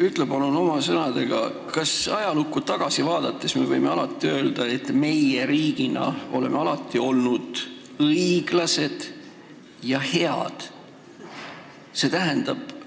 Ütle palun oma sõnadega, kas me võime ajalukku tagasi vaadates öelda, et meie riigina oleme alati olnud õiglased ja head, st